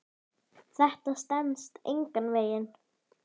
Þetta stenst engan veginn.